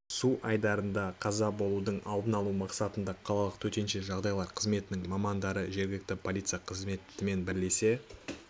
су айдындарда қаза болудың алдын алу мақсатында қалалық төтенше жағдайлар қызметінің мамандары жергілікті полиция қызметімен бірлесе